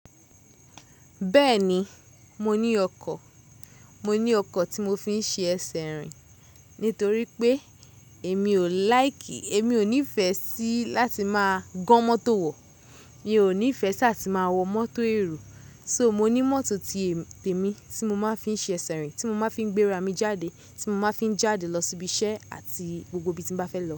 Bẹ́ẹ̀ni, mo ní ọkọ̀, mo ní ọkọ̀ tí mo fi ń ṣe ẹsẹ̀ rìn. Nítorí pé èmi ò like, èmi ò nífẹ̀ẹ́ sí láti máa gan mọ́tò wọ̀. Mi ò nífẹ̀ẹ́ sá ti máa wọ mọ́tò èrò. So mo ní mọ́tò ti ẹ̀mi tí mo máa ń fi ṣe ẹsẹ̀ rìn, tí mo máa ń fi gbéra mi jáde, tí mo máa ń fi jáde lọ síbi iṣẹ́ àti gbogbo ibi tí ń bá fẹ́ lọ.